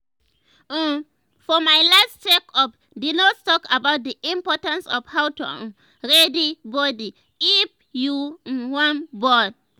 uhm for my last check up the nurse talk about the importance of how to um ready body if um you um wan born